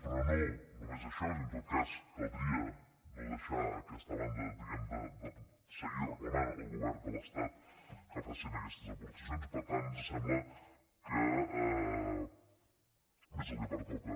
però no només això és a dir en tot cas caldria no deixar aquesta banda de seguir reclamant al govern de l’estat que facin aquestes aportacions i per tant ens sembla que és el que pertoca